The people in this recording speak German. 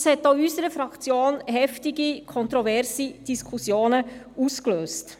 Das hat auch in unserer Fraktion heftige, kontroverse Diskussionen ausgelöst.